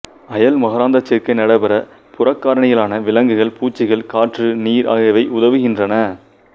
அயல் மகரந்தசேர்க்கை நடைபெற புறக்காரணிகளான விலங்குகள் பூச்சிகள் காற்று நீர் ஆகியவை உதவுகிறன்றன